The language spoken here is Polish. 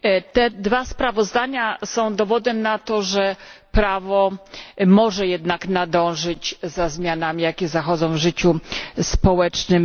Te dwa sprawozdania są dowodem na to, że prawo może jednak nadążyć za zmianami, jakie zachodzą w życiu społecznym.